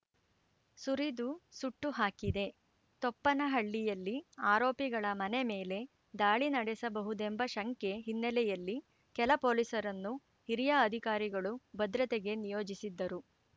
ಸುರಿದು ಸುಟ್ಟುಹಾಕಿದೆ ತೊಪ್ಪನಹಳ್ಳಿಯಲ್ಲಿ ಆರೋಪಿಗಳ ಮನೆ ಮೇಲೆ ದಾಳಿ ನಡೆಸಬಹುದೆಂಬ ಶಂಕೆ ಹಿನ್ನೆಲೆಯಲ್ಲಿ ಕೆಲ ಪೊಲೀಸರನ್ನು ಹಿರಿಯ ಅಧಿಕಾರಿಗಳು ಭದ್ರತೆಗೆ ನಿಯೋಜಿಸಿದ್ದರು